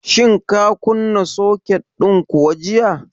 Shin ka kunna soket din kuwa jiya?